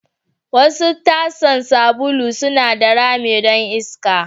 Wasu tasan sabulu suna da rami don iska.